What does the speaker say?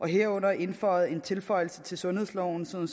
herunder indføjet en tilføjelse til sundhedsloven sådan